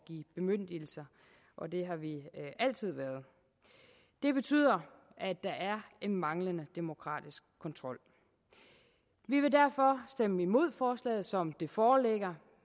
give bemyndigelser og det har vi altid været det betyder at der er en manglende demokratisk kontrol vi vil derfor stemme imod forslaget som det foreligger